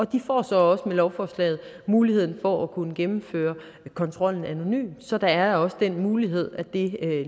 de får så også med lovforslaget muligheden for at kunne gennemføre kontrollen anonymt så der er også den mulighed at det